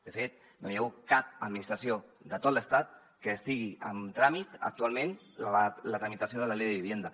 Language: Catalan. de fet no hi ha hagut cap administració de tot l’estat en què estigui en tràmit actualment la tramitació de la ley de vivienda